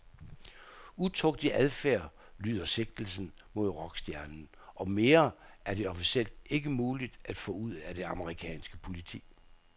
Utugtig adfærd lyder sigtelsen mod rockstjernen, og mere er det officielt ikke muligt at få ud af det amerikanske politi.